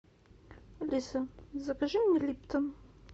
алиса закажи мне липтон